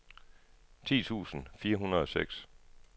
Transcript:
ti tusind fire hundrede og seks